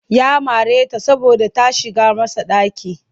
Ya mare ta saboda ta shigar masa ɗaki